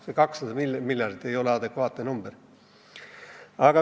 See 200 miljardit ei ole adekvaatne number.